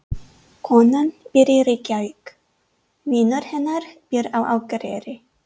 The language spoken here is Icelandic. Konan býr í Reykjavík. Vinur hennar býr á Akureyri.